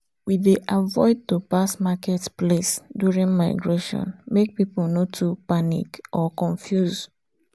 we dey avoid to pass market place during migration make people nor too panic or confuse